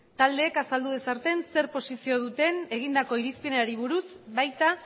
taldeek azaldu dezaten zer posizio duten egindako irizpenari buruz baita